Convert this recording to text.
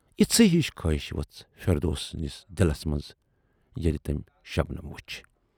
یِژھٕے ہِش خٲہِش ؤژھ فِردوسؔ نِس دِلس مَنز ییلہِ تمٔۍ شبنم ؔ وُچھ۔